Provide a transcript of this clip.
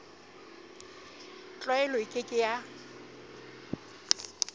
tlwaelo e ke ke ya